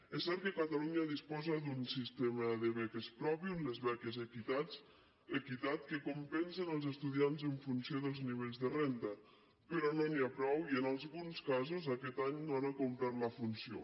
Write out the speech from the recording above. és cert que catalunya disposa d’un sistema de beques propi les beques equitat que compensen els estudiants en funció dels nivells de renta però no n’hi ha prou i en alguns casos aquest any no han acomplert la funció